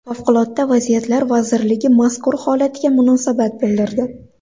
Favqulodda vaziyatlar vazirligi mazkur holatga munosabat bildirdi .